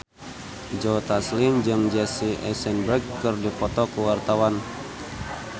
Joe Taslim jeung Jesse Eisenberg keur dipoto ku wartawan